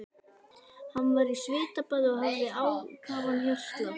Hann var í svitabaði og hafði ákafan hjartslátt.